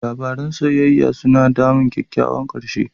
Labaran soyayya suna damun kyakkyawan ƙarshe.